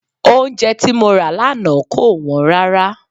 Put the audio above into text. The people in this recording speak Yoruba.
Oúnjẹ tí mo rà lánàá kò wọ́n rárá.